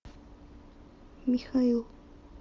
михаил